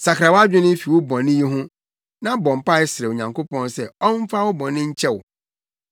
Sakra wʼadwene fi wo bɔne yi ho na bɔ mpae srɛ Onyankopɔn sɛ ɔmfa wo bɔne nkyɛ wo.